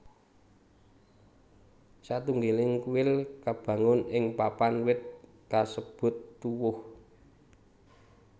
Satunggaling kuil kabangun ing papan wit kasebut tuwuh